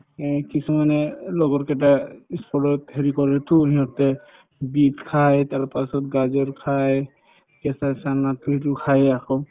এই কিছুমানে এই লগৰ কেইটা ই school ত হেৰি কৰেতো সিহঁতে beet খাই তাৰপাছত , গাজৰ খাই কেঁচা চানাতো সেইটো খায়ে আকৌ